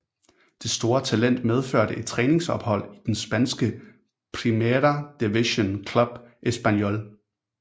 Det store talent medførte et træningsophold i den spanske Primera Division klub Espanyol